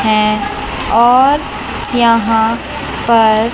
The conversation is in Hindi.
हैं और यहां पर--